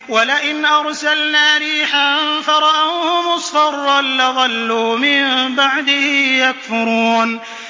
وَلَئِنْ أَرْسَلْنَا رِيحًا فَرَأَوْهُ مُصْفَرًّا لَّظَلُّوا مِن بَعْدِهِ يَكْفُرُونَ